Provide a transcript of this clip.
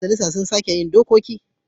Ƴan majalisa su suke yin dokoki.